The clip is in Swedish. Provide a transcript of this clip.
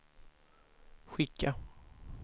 skicka